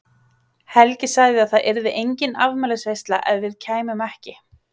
Helgi sagði að það yrði engin afmælisveisla ef við kæmum ekki.